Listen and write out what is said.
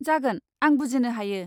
जागोन, आं बुजिनो हायो।